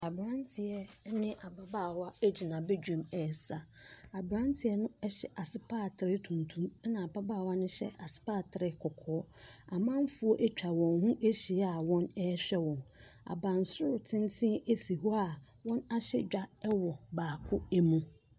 Abranteɛ ɛne ababaawa egyina badwam ɛsa abranteɛ no hyɛ asopaatere tuntum ɛna ababaawa no hyɛ asopaatere kɔkɔɔ amanfoɔ atwa wɔn ho ahyia a wɔhwɛ wɔn abansoro tenteb esi hɔ a wɔn ahyɛ dwa ɛwɔ baako mu.